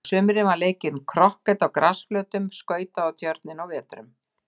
Á sumrin var leikinn krokket á grasflötum, skautað á tjörninni á vetrum.